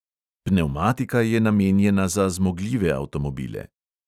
Pnevmatika je namenjena za zmogljive avtomobile.